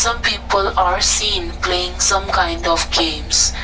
some people are seen playing some kind of games.